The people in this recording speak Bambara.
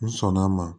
N sɔnn'a ma